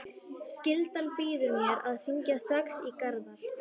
Skyldan býður mér að hringja strax í Garðar.